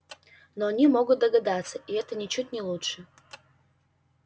но они могут догадаться и это ничуть не лучше